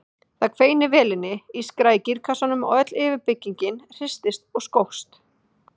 Það hvein í vélinni, ískraði í gírkassanum og öll yfirbyggingin hristist og skókst.